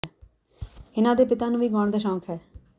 ਇਨ੍ਹਾਂ ਦੇ ਪਿਤਾ ਨੂੰ ਵੀ ਗਾਉਣ ਦਾ ਸ਼ੌਕ ਹੈ